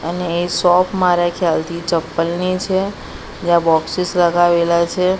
અને એ શોપ મારા ખ્યાલથી ચપ્પલની છે જ્યાં બોક્સિસ લગાવેલા છે.